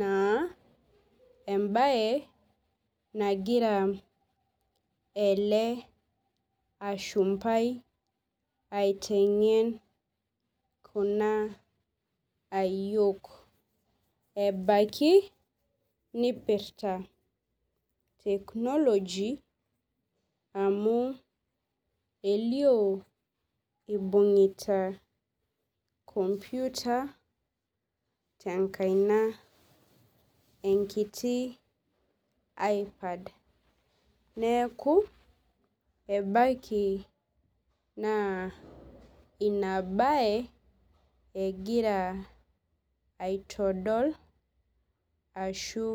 na embae nagira ele ashumbai aitengen kuna ayiok ebaki nipirta technology amu elio ibungita enkomputa tenkaina enkiti aipad neaku ebaki naa inabae egira aitodol ashu .